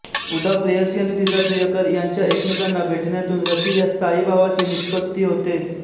उदा प्रेयसी आणि तिचा प्रियकर यांच्या एकमेकांना भेटण्यातून रती या स्थायीभावाची निष्पत्ती होते